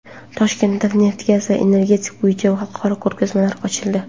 Toshkentda neft-gaz va energetika bo‘yicha xalqaro ko‘rgazmalar ochildi.